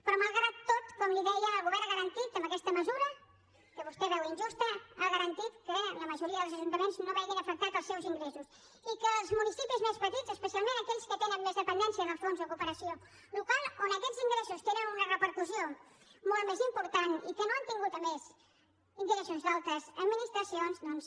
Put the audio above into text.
però malgrat tot com li deia el govern ha garantit amb aquesta mesura que vostè veu injusta que la majoria dels ajuntaments no vegin afectats els seus ingressos i que els municipis més petits especialment aquells que tenen més dependència del fons de cooperació local on aquests ingressos tenen una repercussió molt més important i que no han tingut a més ingressos d’altres administracions doncs